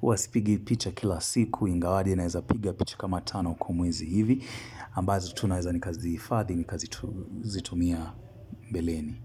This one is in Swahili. huwa sipigi picha kila siku, ingawaje naweza piga picha kama tano kwa mwezi hivi, ambazo tu naweza nikazihifadhi, nikazitumia mbeleni.